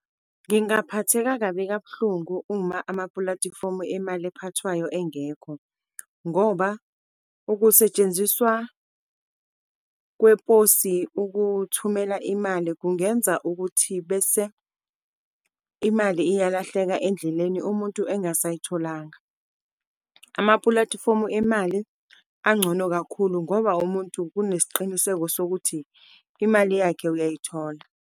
Ngingaphatheka kabi kabuhlungu uma amaplatifomu emali ephathwayo engekho, ngoba ukusetshenziswa kweposi ukuthumela imali kungenza ukuthi bese imali iyalahleka endleleni, umuntu engasayitholanga. Amaplatifomu emali angcono kakhulu, ngoba umuntu kunesiqiniseko sokuthi imali yakhe uyayithola.